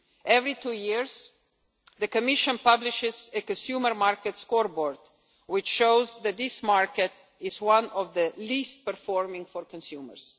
car market. Every two years the Commission publishes a consumer market scoreboard, which shows that this market is one of the least performing for